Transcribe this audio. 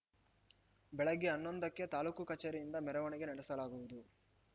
ಬೆಳಗ್ಗೆ ಹನ್ನೊಂದಕ್ಕೆ ತಾಲೂಕು ಕಚೇರಿಯಿಂದ ಮೆರವಣಿಗೆ ನಡೆಸಲಾಗುವುದು